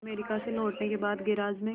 America से लौटने के बाद गैराज में